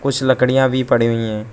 कुछ लकड़ियां भी पड़ी हुई है।